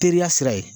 Teriya sira ye